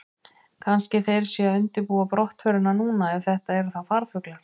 Kannski þeir séu að undirbúa brottförina núna, ef þetta eru þá farfuglar.